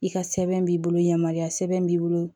I ka sɛbɛn b'i bolo yamaruya sɛbɛn b'i bolo